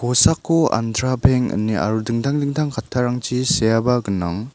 kosako andra beng ine aro dingtang dingtang kattarangchi seaba gnang.